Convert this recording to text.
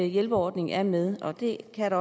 hjælperordningen er med og det kan